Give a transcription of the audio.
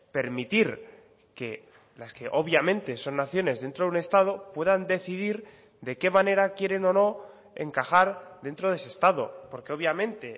permitir que las que obviamente son naciones dentro de un estado puedan decidir de qué manera quieren o no encajar dentro de ese estado porque obviamente